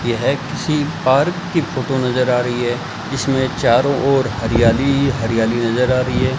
यह किसी पार्क की फोटो नजर आ रही है इसमें चारों ओर हरियाली ही हरियाली नजर आ रही है।